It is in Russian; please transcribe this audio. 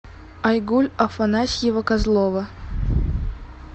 айгуль афанасьева козлова